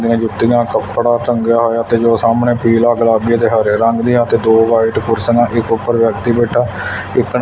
ਜੁੱਤੀਆਂ ਕੱਪੜਾ ਤੰਗਿਆ ਹੋਇਆ ਤੇ ਜੋ ਸਾਹਮਣੇ ਪੀਲਾ ਗੁਲਾਬੀ ਤੇ ਹਰੇ ਰੰਗ ਦੀ ਆ ਤੇ ਦੋ ਵਾਈਟ ਕੁਰਸੀਆਂ ਨਾ ਇੱਕ ਉੱਪਰ ਵਿਅਕਤੀ ਬੈਠਾ ਇਕ--